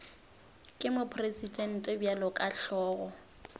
ke mopresidente bjalo ka hlogo